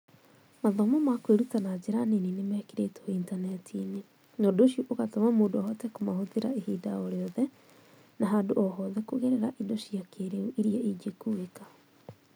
Mathomo ma kwĩruta na njĩra nini nĩmekĩrĩtwo Intaneti-inĩ, na ũndũ ũcio ũgatũma mũndũ ahote kũmahũthĩra ihinda o rĩothe na handũ o hothe kũgerera indo cia kĩĩrĩu iria ingĩkuĩka.